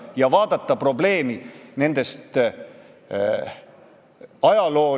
Mu ühe väga hea tuttava töökaaslane, kes ei rääkinud sõnagi eesti keelt, läks Saksamaale tööle ja kolme kuuga oli tal saksa keel suus.